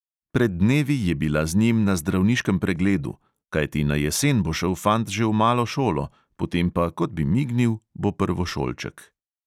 Pred dnevi je bila z njim na zdravniškem pregledu, kajti na jesen bo šel fant že v malo šolo, potem pa, kot bi mignil, bo prvošolček.